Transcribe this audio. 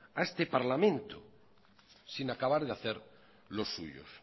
a este parlamento sin acabar de hacer lo suyos